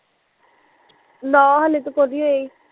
ਨਾ ਹਲੇ ਤਾਂ ਕੋ ਨੀ ਹੋਈ